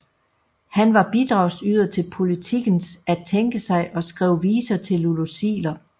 Han var bidragsyder til Politikens At tænke sig og skrev viser til Lulu Ziegler